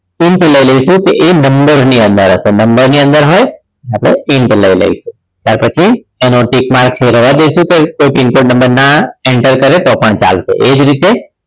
INT લઈ લઈશું એ નંબર ની અંદર હશે નંબર ની અંદર હોય એટલે આપણે INT લઈ લઈશું ત્યાર પછી એનો tick mark છે એ રહેવા દઈશું કે એ pin coded number ના add કરે તો પણ ચાલશે એ જ રીતે